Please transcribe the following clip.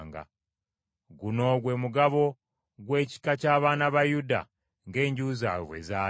Guno gwe mugabo gw’ekika ky’abaana ba Yuda ng’enju zaabwe bwe zaali.